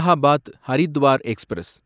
Allahabad Haridwar express